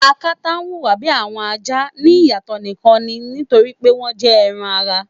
Akata huwa bi awọn aja ni iyatọ nikan ni nitori pe wọn jẹ ẹran-ara